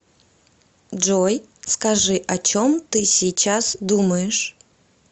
джой скажи о чем ты сейчас думаешь